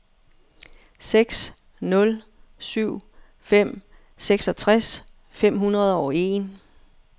seks nul syv fem seksogtres fem hundrede og en